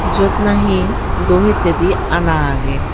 jyot na he do hittedi ana aggey.